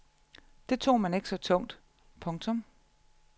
Det tog man ikke så tungt. punktum